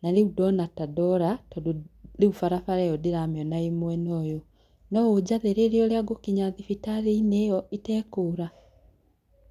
na rĩu ndona ta ndora, tondũ rĩu barabara ĩyo ndĩramĩona ĩ mwena ũyũ. no ũnjathĩrĩrie ũria ngũthiĩ thibitarĩ-inĩ itekũra